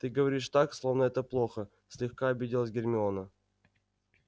ты говоришь так словно это плохо слегка обиделась гермиона